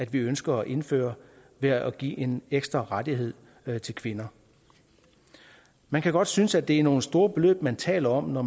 vi ønsker at indføre ved at give en ekstra rettighed til kvinder man kan godt synes det er nogle store beløb man taler om når